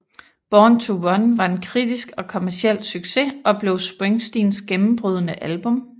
Born to Run var en kritisk og kommerciel succes og blev Springsteens gennembrydende album